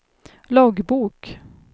loggbok